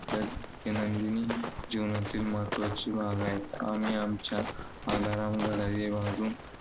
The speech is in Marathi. आपल्या दैनंदिन जीवनातील महत्त्वाचे भाग आहेत. आम्ही आमच्या alarm घड्याळ वाजवून